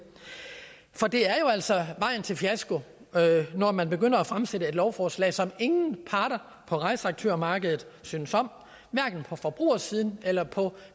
for det er altså vejen til fiasko når man fremsætter et lovforslag som ingen parter på rejseaktørmarkedet synes om hverken på forbrugersiden eller på